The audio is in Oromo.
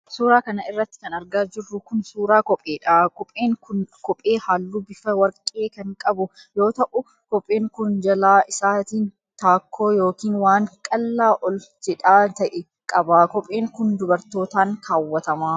Suura kana irratti kan argaa jirru kun, suura kopheedha. Kopheen kun kophee haalluu bifa warqee kan qabu yoo ta'u, kopheen kun jalaa isaatiin taakkoo yokin waan qallaa ol jedhaa ta'e qaba. Kopheen kun dubartootaan kaawwatama.